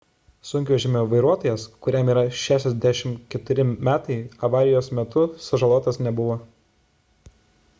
sunkvežimio vairuotojas kuriam yra 64 metai avarijos metu sužalotas nebuvo